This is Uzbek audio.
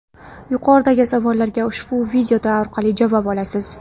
Yuqoridagi savollarga ushbu video orqali javob olasiz.